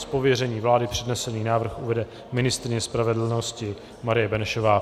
Z pověření vlády přednesený návrh uvede ministryně spravedlnosti Marie Benešová.